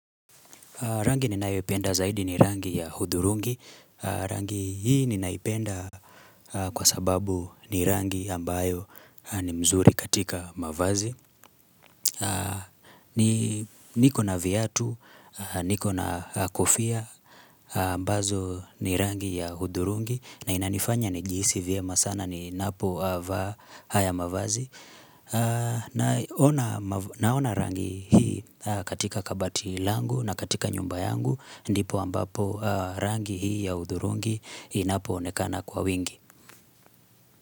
Rangi ninayoipenda zaidi ni rangi ya hudhurungi Rangi hii ninaipenda kwa sababu ni rangi ambayo ni mzuri katika mavazi. Niko na viatu, niko na kofia, ambazo ni rangi ya hudhurungi. Na inanifanya nijihisi vyema sana ninapovaa haya mavazi. Naona rangi hii katika kabati langu na katika nyumba yangu. Ndipo ambapo rangi hii ya hudhurungi inapoonekana kwa wingi.